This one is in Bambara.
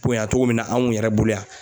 ponya cogo min na anw yɛrɛ bolo yan.